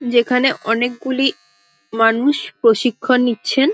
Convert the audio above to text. যেখানে অনেকগুলি মানুষ প্রশিক্ষণ নিচ্ছেন ।